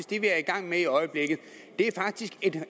det vi er i gang med i øjeblikket det er faktisk